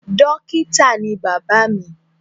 Dókítà ni bàbá mi.